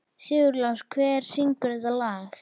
Sigurlás, hver syngur þetta lag?